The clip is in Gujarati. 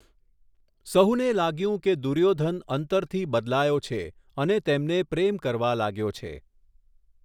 સહુને લાગ્યું કે દુર્યોધન અંતરથી બદલાયો છે અને તેમને પ્રેમ કરવા લાગ્યો છે.